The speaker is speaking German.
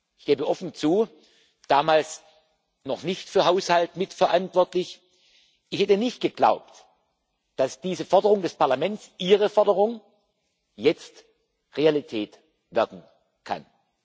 Ich gebe offen zu damals noch nicht für Haushalt mitverantwortlich Ich hätte nicht geglaubt, dass diese Forderung des Parlaments Ihre Forderung jetzt Realität werden kann.